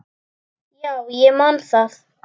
Já, ég man það.